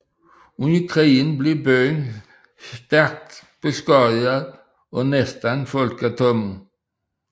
Under krigen blev byen stærkt beskadiget og næsten folketom